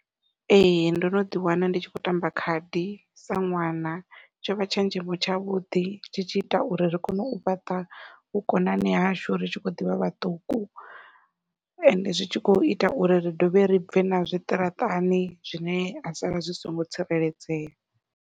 Ee ndo no ḓi wana ndi tshi khou tamba khadi sa ṅwana, tsho vha tshenzhemo tshavhuḓi tshi tshi ita uri ri kone u fhaṱa vhukonani hashu ri tshi khou ḓivha vhaṱuku ende zwi tshi kho ita uri ri dovhe ri bve na zwiṱaraṱani zwine zwa sala zwi songo tsireledzea.